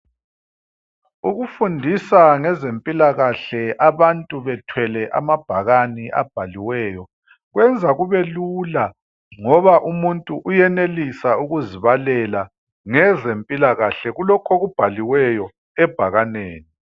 Ukufundisa ngezempilakahle abantu bethwele amabhakane abhaliweyo kwenza kubelula ngoba umuntu uyenelisa ukuzibalela ngezempilakahle kulokho okubhaliweyo ebhakaneni.